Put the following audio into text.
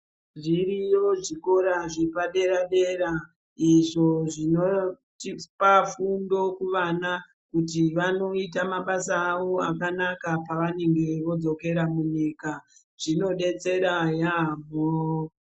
Zviriyo zvikora zvepadera dera izvo zvinotipa fundo kuvana kuti vanoita mabasa akanaka pavanenge vodzokera munyika zvinodetsera yambo.